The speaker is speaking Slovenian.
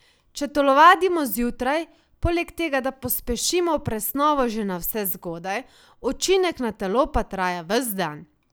Če telovadimo zjutraj, poleg tega pospešimo presnovo že navsezgodaj, učinek na telo pa traja ves dan.